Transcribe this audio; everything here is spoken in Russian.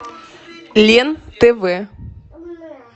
лен тв